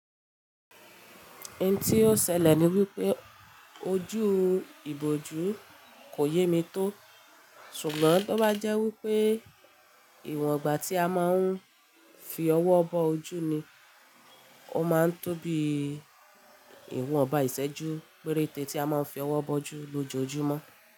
Ohun tí ó ṣẹlẹ̀ ni wípé ojú ìbòjú kò yé mi tó, ṣùgbọ́n bí ó bá jẹ́ wípé ìwọ̀n igba tí a máa ń fi ọwọ́ bọ ojú ni, ó máa ń tó bí ìwọ̀n iba ìsẹ́jú péréte tí a máa ń fi ọwọ́ bọ ojú lójoojúmọ́